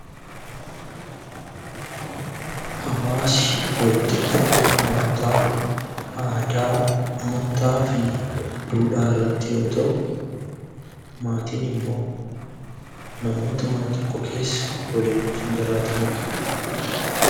Hawwaasi walitti dhufeenya namootaa aadaa, amantaa fi duudhaa irratti yoo ta'u; maatiin immoo namoota mana tokko keessa waliin jiraatanii dha.